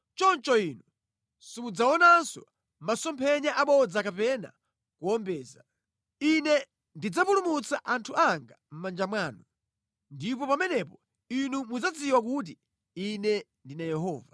choncho inu simudzaonanso masomphenya abodza kapena kuwombeza. Ine ndidzapulumutsa anthu anga mʼmanja mwanu. Ndipo pamenepo inu mudzadziwa kuti Ine ndine Yehova.’ ”